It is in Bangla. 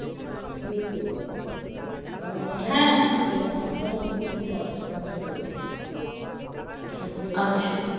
CSP branch আর আমাদের রামপুর হাটের নিশ্চিন্দপুর branch টা পড়ছে।